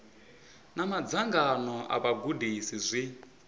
na madzangano a vhagudisi zwi